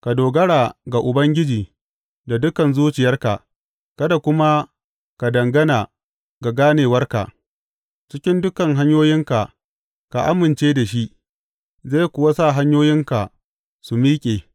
Ka dogara ga Ubangiji da dukan zuciyarka kada kuma ka dangana ga ganewarka; cikin dukan hanyoyinka ka amince da shi, zai kuwa sa hanyoyinka su miƙe.